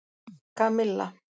Kamilla